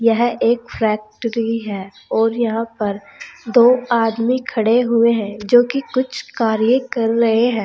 यह एक फैक्ट्री है और यहां पर दो आदमी खड़े हुए हैं जो कि कुछ कार्य कर रहे हैं।